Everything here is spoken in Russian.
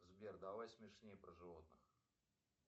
сбер давай смешней про животных